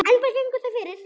Enda gengu þau fyrir.